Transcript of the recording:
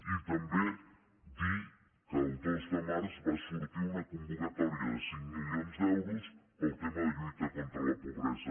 i també dir que el dos de març va sortir una convocatòria de cinc milions d’euros pel tema de la lluita contra la pobresa